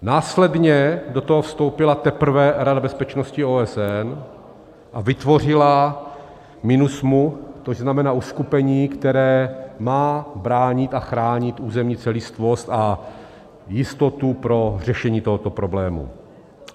Následně do toho vstoupila teprve Rada bezpečnosti OSN a vytvořila MINUSMA, což znamená uskupení, které má bránit a chránit územní celistvost a jistotu pro řešení tohoto problému.